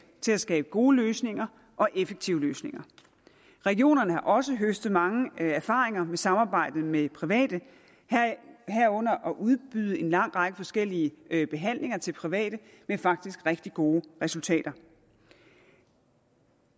til at skabe gode løsninger og effektive løsninger regionerne har også høstet mange erfaringer med samarbejdet med private herunder med at udbyde en lang række forskellige behandlinger til private faktisk med rigtig gode resultater